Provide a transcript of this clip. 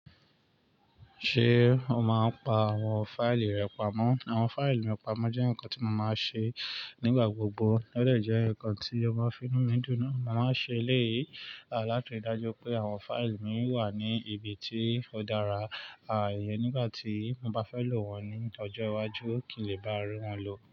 Ṣé o máa ń pa àwọn fáìlì rẹ pamọ́? Àwọn fáìlì mi pamọ́ jẹ́ nǹkan tí mo máa ń ṣe nígbà gbogbo. Ó dẹ̀ jẹ́ nǹkan tí o máa ń finú mi dùn na. Mo máa ń ṣe eléyìí láti ri dájú pé àwọn fáìlì mi wà ní ibi tí ó dára. À íyẹ̀n nígbà tí mo bá fẹ́ lò wọ́n ní ọ́jo iwájú kì í lè bá rín wọn lò.